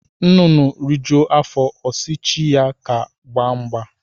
Nnụnụ rijuo afọ ọsi chi ya ka ha gbaa mgba